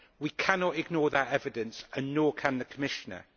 We cannot ignore that evidence and nor can the Commissioner.